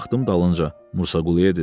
Baxdım dalınca Musa Quluya dedim.